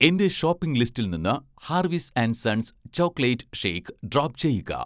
എന്‍റെ ഷോപ്പിംഗ് ലിസ്റ്റിൽ നിന്ന് 'Harvis and sons' chocolate shake drop ചെയ്യുക